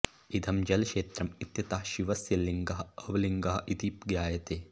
इदं जलक्षेत्रम् इत्यतः शिवस्य लिङ्गः अब्लिङ्गः इति ज्ञायते